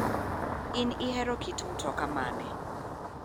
In ihero kit mtoka mane?